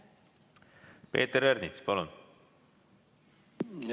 Peeter Ernits, palun!